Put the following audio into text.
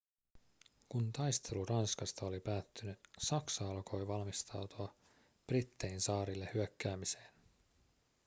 kun taistelu ranskasta oli päättynyt saksa alkoi valmistautua brittein saarille hyökkäämiseen